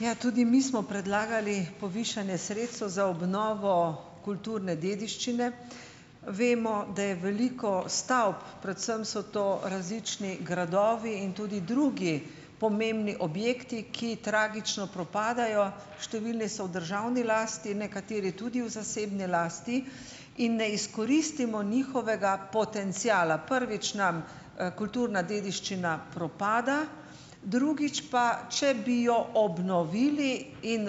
Ja, tudi mi smo predlagali povišanje sredstev za obnovo kulturne dediščine. Vemo, da je veliko stavb, predvsem so to različni gradovi in tudi drugi pomembni objekti, ki tragično propadajo. Številni so v državni lasti, nekateri tudi v zasebni lasti in ne izkoristimo njihovega potenciala. Prvič, nam, kulturna dediščina propada, drugič pa, če bi jo obnovili in,